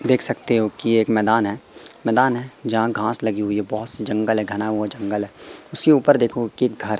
देख सकते हो कि एक मैदान है मैदान है जहां घास लगी हुई है बहोत से जंगल है घना हुआ जंगल है उसके ऊपर देखो के घर--